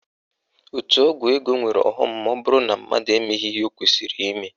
Òtù ọgwụ ego nwere ọghọm maọbụrụ na mmadụ emeghị ihe o kwesịrị ime